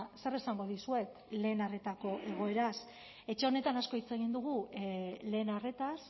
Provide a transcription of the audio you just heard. zer esango dizuet lehen arretako egoeraz etxe honetan asko hitz egin dugu lehen arretaz